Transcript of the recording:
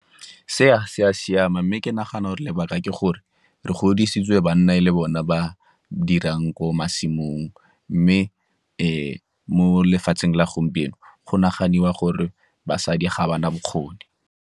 Se a se a siama mme ke nagana gore lebaka ke gore re godisitswe banna e le bone ba dirang ko masimong, mme mo lefatsheng la gompieno go naganiwa gore basadi ga ba na bokgoni.